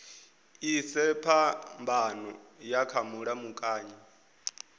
ise phambano yavho kha mulamukanyi